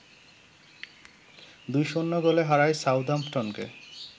২-০ গোলে হারায় সাউদাম্পটনকে